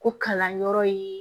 Ko kalanyɔrɔ ye